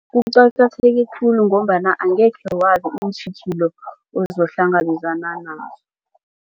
Kuqakatheke khulu ngombana angekhe wazi iintjhijilo ozokuhlangabezana nazo.